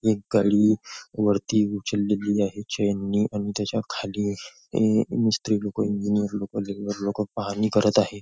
एक वरती उचललेली आहे चैन नी आणि त्याच्याखाली अ नुसते लोक नुसते इंजिनियर लोक बिल्डर लोक पाहणी करत आहे.